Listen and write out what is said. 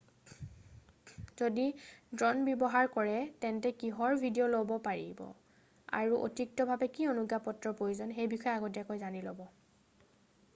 যদি ড্ৰ'ন ব্যৱহাৰ কৰে তেন্তে কিহৰ ভিডিঅ' ল'ব পাৰিব আৰু অতিৰিক্তভাৱে কি অনুজ্ঞাপত্ৰৰ প্ৰয়োজন সেই বিষয়ে আগতীয়াকৈ জানি ল'ব